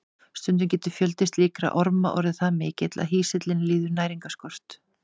Stundum getur fjöldi slíkra orma orðið það mikill að hýsillinn líður næringarskort.